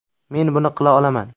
Men buni qila olaman.